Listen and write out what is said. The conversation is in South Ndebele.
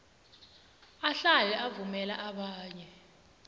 ahlale avumela abanye